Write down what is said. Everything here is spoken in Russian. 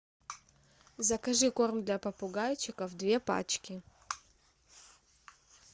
закажи корм для попугайчиков две пачки